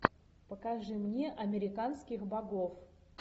покажи мне американских богов